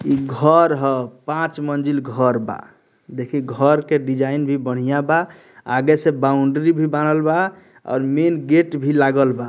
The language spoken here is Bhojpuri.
इ घर ह पांच मंजिल घर बा देखी घर के डिज़ाइन भी बढ़िया बा आगे से बाउंड्री भी बाड़ल बा और मैन गेट भी लागल बा।